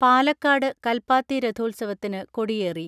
പാലക്കാട് കൽപ്പാത്തി രഥോത്സവത്തിനു കൊടിയേറി.